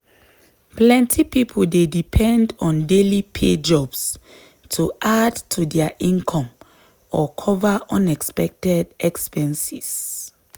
plenty people dey depend on daily pay jobs to add to dia income or cover unexpected expenses.